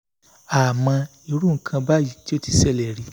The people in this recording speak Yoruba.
àmọ́ irú nǹkan báyìí kò tíì ṣẹlẹ̀ rí